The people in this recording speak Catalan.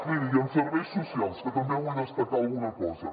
miri i en serveis socials que també en vull destacar alguna cosa